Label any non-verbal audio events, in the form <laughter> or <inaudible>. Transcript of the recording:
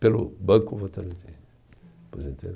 Pelo Banco Votorantim. <unintelligible>